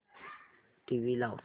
TV लाव